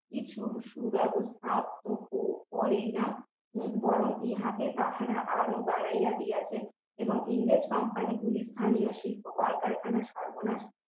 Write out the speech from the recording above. সুব্যবস্থা তো কেউ করেই না বরং ইহাতে তাহারা আরো বাড়াইয়া দিয়াছে এবং ইন্দোস company গুলি স্থানীয় শিল্প কলকারখানা সর্বনাশ